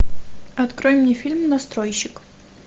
открой мне фильм настройщик